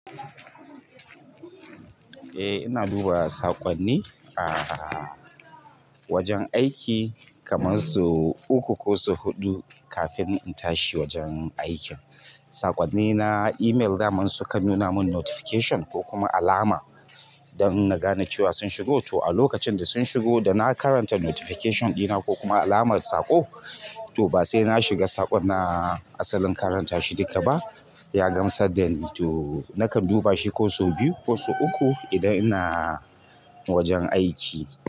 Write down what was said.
Eh ina duba saƙonni a wajen aiki kaman so uku ko so huɗu kafin in tashi wajen aikin. Saƙonnina email daman su kan nuna min notification ko kuma alama don na gane cewa sun shigo. To a lokacin da sun shigo da na karanta notification ɗina ko kuma alamar saƙo, to ba sai na shiga saƙon na assalin karanta shi duka ba. Yagam sad dani to nakan duba shi ko sau biyu ko sau uku idan ina wajen aiki.